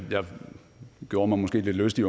gjorde mig måske lidt lystig